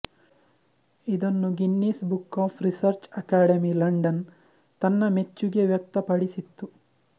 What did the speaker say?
ಇದನ್ನು Guinness Book of Research Academy London ತನ್ನ ಮೆಚ್ಚುಗೆ ವ್ಯಕ್ತ ಪಡಿಸಿತ್ತು